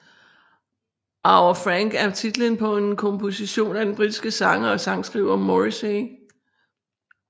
Our Frank er titlen på en komposition af den britiske sanger og sangskriver Morrissey